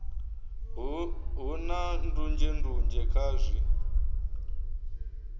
hu na ndunzhendunzhe kha zwi